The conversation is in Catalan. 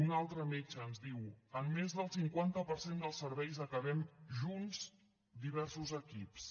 un altre metge ens diu en més del cinquanta per cent dels serveis acabem junts diversos equips